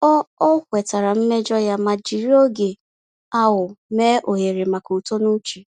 Ọ Ọ kwetara mmejọ ya ma jiri oge ahụ mee ohere maka uto n’uche.